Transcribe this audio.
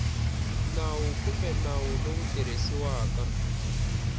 nawu kumbe nawu lowu tirhisiwaka